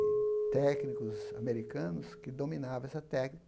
de técnicos americanos que dominavam essa